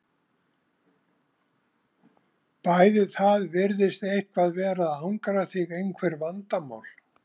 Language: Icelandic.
Bæði Það virðist eitthvað vera að angra þig, einhver vandamál?